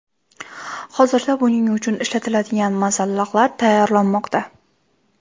Hozirda buning uchun ishlatiladigan masalliqlar tayyorlanmoqda.